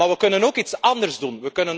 Maar we kunnen ook iets anders doen.